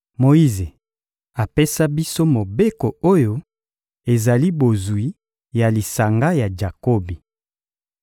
Moyize apesa biso Mobeko oyo ezali bozwi ya lisanga ya Jakobi.